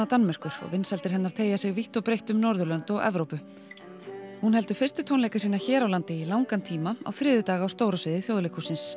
Danmerkur og vinsældir hennar teygja sig vítt og breytt um og Evrópu hún heldur fyrstu tónleika sína hér á landi í langan tíma á þriðjudag á stóra sviði Þjóðleikhússins